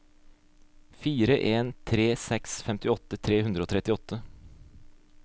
fire en tre seks femtiåtte tre hundre og trettiåtte